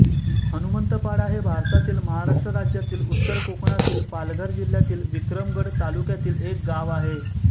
हनुमंतपाडा हे भारतातील महाराष्ट्र राज्यातील उत्तर कोकणातील पालघर जिल्ह्यातील विक्रमगड तालुक्यातील एक गाव आहे